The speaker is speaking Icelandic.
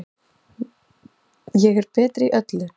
Ég er betri í öllu.